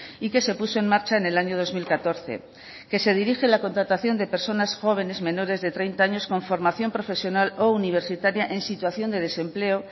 y que se puso en marcha en el año dos mil catorce que se dirige a la contratación de personas jóvenes menores de treinta años con formación profesional o universitaria en situación de desempleo